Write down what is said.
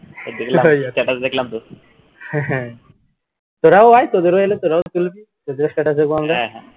তোরাও আয় তোদের ও এলে তোরাও তুলবি তোদের ও status দেখবো আমরা